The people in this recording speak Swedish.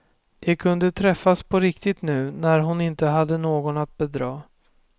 De kunde träffas på riktigt nu när hon inte hade någon att bedra.